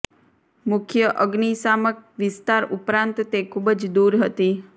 મુખ્ય અગનિશામક વિસ્તાર ઉપરાંત તે ખૂબ જ દૂર હતી